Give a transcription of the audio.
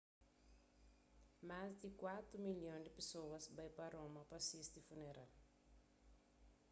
más di kuatu milhon di pesoas bai pa roma pa sisti funeral